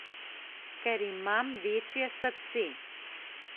Ker imam večje srce.